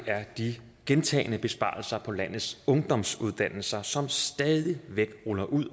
er de gentagne besparelser på landets ungdomsuddannelser som stadig væk rulles ud